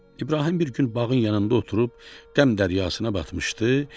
İbrahim bir gün bağın yanında oturub qəm dəryasına batmışdı.